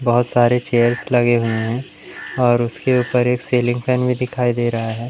बहोत सारे चेयर्स लगे हुए है और उसके ऊपर एक सीलिंग फैन भी दिखाई दे रहा हैं।